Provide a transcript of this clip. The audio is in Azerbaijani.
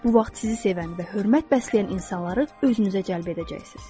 Bu vaxt sizi sevən və hörmət bəsləyən insanları özünüzə cəlb edəcəksiz.